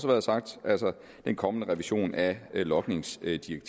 været sagt den kommende revision af logningsdirektivet